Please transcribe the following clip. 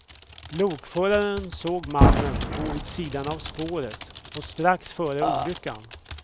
Lokföraren såg mannen gå vid sidan av spåret strax före olyckan.